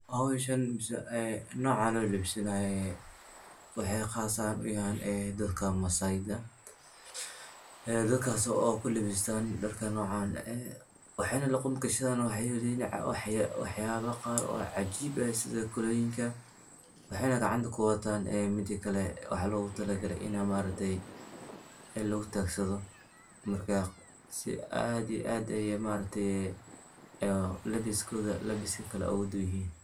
Hawshan mise ee noca lolabisanayo waxey qaas ahaan u yahan dadka maasai da ee dadkas oo ku labistan dharka noocan eh waxayna luqunta gashadan waxyaaba qaar oo cajiib sida koronyinka waxayna gacanta kuwatan midakale ee waxa loo gu talagalay in ma aragtay in lagutagsado marka si aad iyo aad aya ma aragte aya labiskooda labiska kale oga dubanyahy.